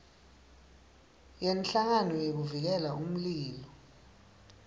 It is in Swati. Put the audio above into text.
yenhlangano yekuvikela umlilo